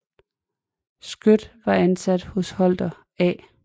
Skøt var ansat hos Hother A